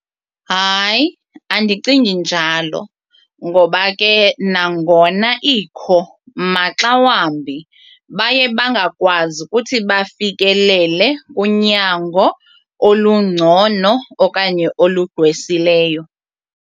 Hayi, andicingi njalo ngoba ke nangona ikho maxa wambi baye bangakwazi ukuthi bafikelele kunyango olungcono okanye olugqwesileyo.